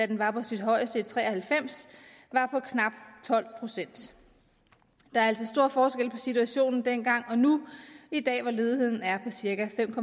den var på sit højeste i nitten tre og halvfems var på knap tolv procent der er altså stor forskel på situationen dengang og nu i dag hvor ledigheden er på cirka fem